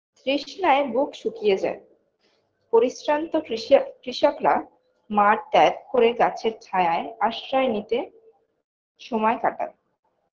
তৃষ্ণায় বুক শুকিয়ে যায় পরিশ্রান্ত কৃষক কৃষকরা মাঠ ত্যাগ করে গাছের ছায়ায় আশ্রয় নিতে সময় কাটায়